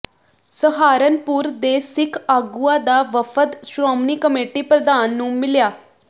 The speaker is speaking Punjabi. ਸਹਾਰਨਪੁਰ ਦੇ ਸਿੱਖ ਆਗੂਆਂ ਦਾ ਵਫਦ ਸ਼੍ਰੋਮਣੀ ਕਮੇਟੀ ਪ੍ਰਧਾਨ ਨੂੰ ਮਿਲਿਆ